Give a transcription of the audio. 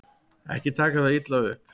Ekki taka það illa upp.